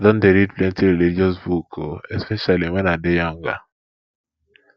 i don don read plenty religious book o especially wen i dey younger